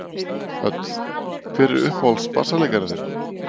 Hödd: Hver er uppáhalds bassaleikarinn þinn?